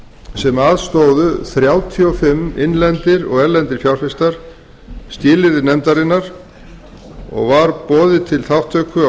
sem aðstoðuðu þrjátíu og fimm innlendir og erlendir fjárfestar skilyrði nefndarinnar og var boðið til þátttöku á